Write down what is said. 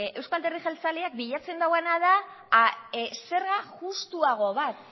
euzko alderdi jeltzaleak bilatzen duena da zerga justuago bat